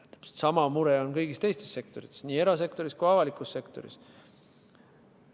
Täpselt sama mure on kõigis teistes sektorites, nii erasektoris kui ka avalikus sektoris.